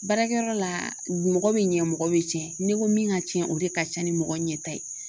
Baarakɛyɔrɔ la mɔgɔ min ɲɛ mɔgɔ bɛ tiɲɛ n'i ko min ka ca o de ka ca ni mɔgɔ ɲɛta ye